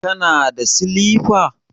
Kana da silifa?